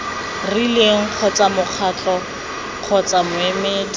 rileng kgotsa mokgatlo kgotsa moemedi